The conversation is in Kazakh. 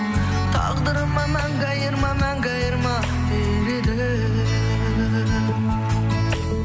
тағдырыма мәңгі айырма мәңгі айырма тілегім